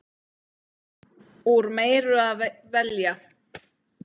Úr meiru að velja!